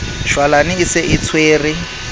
shwalane e se e tshwere